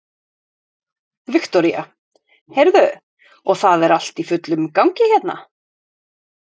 Viktoría: Heyrðu, og það er allt í fullum gangi hérna?